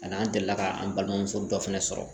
Ani an delila ka an balimamuso dɔ fɛnɛ sɔrɔ